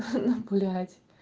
хи-хи ну блять